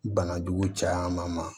Bana jugu caman ma